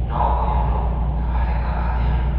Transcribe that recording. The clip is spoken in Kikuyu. No ũyũ nũũ na areka atĩa ?